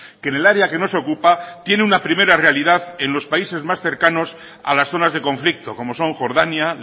que en el área que nos ocupa tiene una primera realidad en los países más cercanos a las zonas de conflicto como son jordania